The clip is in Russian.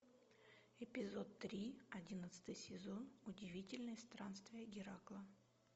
эпизод три одиннадцатый сезон удивительные странствия геракла